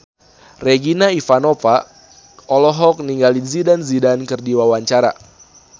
Regina Ivanova olohok ningali Zidane Zidane keur diwawancara